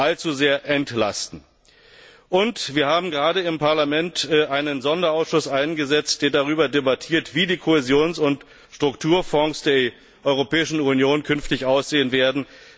allzu sehr entlasten. Wir haben im Parlament gerade einen Sonderausschuss eingesetzt, der darüber debattiert, wie die Kohäsions und Strukturfonds der Europäischen Union künftig aussehen werden.